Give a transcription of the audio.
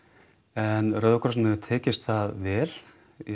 en Rauða krossinum hefur tekist það vel